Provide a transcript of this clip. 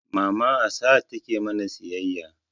Mama a sahad take mana siyayya